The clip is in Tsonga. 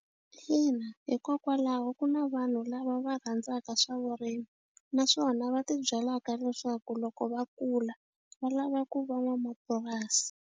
Ina, hikokwalaho ku na vanhu lava va rhandzaka swa vurimi naswona va ti byalaka leswaku loko va kula va lava ku va n'wamapurasi.